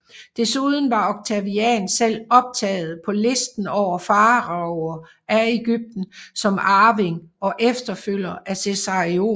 Desuden var Octavian selv optaget på listen over faraoer af Egypten som arving og efterfølger efter Cæsarion